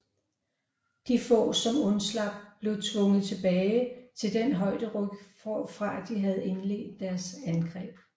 De få som undslap blev tvunget tilbage til den højderyg hvorfra de havde indledt deres angreb